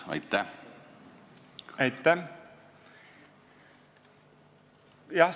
Aitäh!